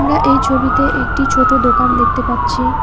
আমরা এই ছবিতে একটি ছোট দোকান দেখতে পাচ্ছি।